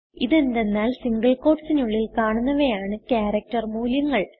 ഇത് എന്തെന്നാൽ സിംഗിൾ ക്യൂട്ടീസ്നുള്ളിൽ കാണുന്നവയാണ് ക്യാരക്ടർ മൂല്യങ്ങൾ